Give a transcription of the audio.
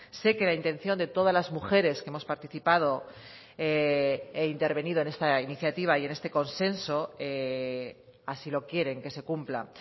sé que la intención de todas las mujeres que hemos participado e intervenido en esta iniciativa y en este consenso así lo quieren que se cumpla